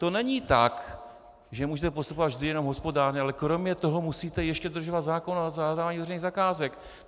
To není tak, že můžete postupovat vždy jenom hospodárně, ale kromě toho musíte ještě dodržovat zákon o zadávání veřejných zakázek.